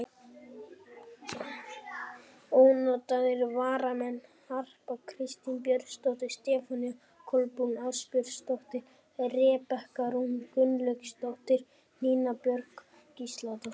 Ónotaðir varamenn: Harpa Kristín Björnsdóttir, Stefanía Kolbrún Ásbjörnsdóttir, Rebekka Rún Gunnlaugsdóttir, Nína Björk Gísladóttir.